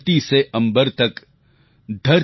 धरती से अम्बर तक